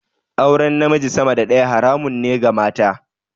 Auren namiji sama da daya haramun ne ga mata.